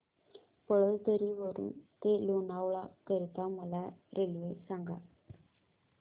पळसधरी वरून ते लोणावळा करीता मला रेल्वे सांगा